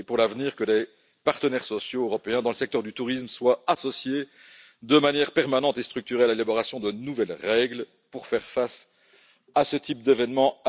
À l'avenir, il faut que les partenaires sociaux européens dans le secteur du tourisme soient associés de manière permanente et structurée à l'élaboration de nouvelles règles pour faire face à ce type d'événements.